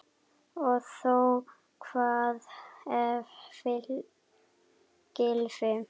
Og þó Hvað ef Gylfi.